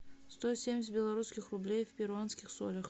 сто семьдесят белорусских рублей в перуанских солях